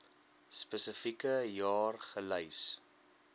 spesifieke jaar gelys